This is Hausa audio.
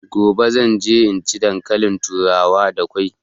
Gobe zan ci dankalin turawa da kwai